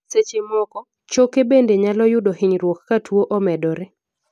seche moko, choke bende nyalo yudo hinyruok ka tuo omedore